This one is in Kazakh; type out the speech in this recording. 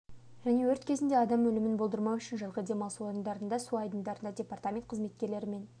және өрт кезінде адам өлімін болдырмау үшін жазғы демалыс орындарындағы су айдындарында департамент қызметкерлері мен